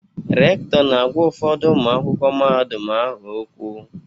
Rektọ na-agwa ụfọdụ ụmụ akwụkwọ mahadum ahụ okwu.